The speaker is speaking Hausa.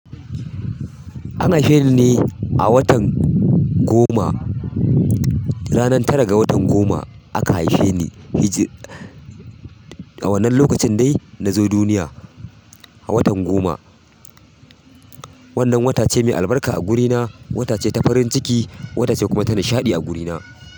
An haife ni ne a watan goma, ranar tara ga watan goma aka haife ni. Hijri, a wannan lokacin dai na zo duniya, a watan goma. Wannan wata ce mai albarka a gurina, wata ce ta farin ciki, wata ce kuma ta nishaɗi a gurina.